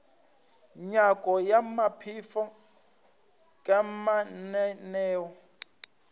nyako ya maphelo ka mananeo